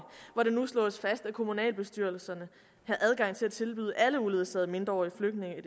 hvor det nu slås fast at kommunalbestyrelserne har adgang til at tilbyde alle uledsagede mindreårige flygtninge